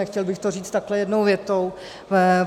Nechtěl bych to říct takhle jednou větou.